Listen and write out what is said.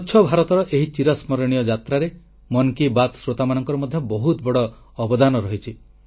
ସ୍ୱଚ୍ଛ ଭାରତର ଏହି ଚିରସ୍ମରଣୀୟ ଯାତ୍ରାରେ ମନ୍ କୀ ବାତ୍ ଶ୍ରୋତାମାନଙ୍କର ମଧ୍ୟ ବହୁତ ବଡ଼ ଅବଦାନ ରହିଛି